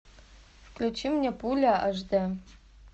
включи мне пуля аш дэ